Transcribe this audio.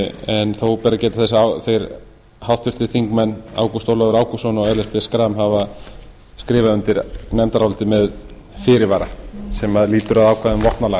en þó ber að geta þess að þeir háttvirtir þingmenn ágúst ólafur ágústsson og ellert b schram hafa skrifað undir nefndarálitið með fyrirvara sem lýtur að ákvæðum vopnalaga